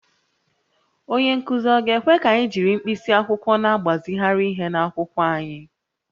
Onye nkụzi ọ̀ ga-ekwe ka anyị jiri mkpịsị akwụkwọ na-agbazigharị ihe n’akwụkwọ anyị?